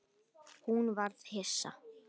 Hún varð hissa.